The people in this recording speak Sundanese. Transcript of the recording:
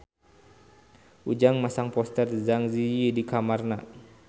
Ujang masang poster Zang Zi Yi di kamarna